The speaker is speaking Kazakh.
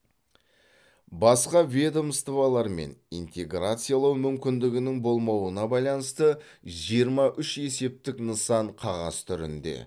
басқа ведомстволармен интеграциялау мүмкіндігінің болмауына байланысты жиырма үш есептік нысан қағаз түрінде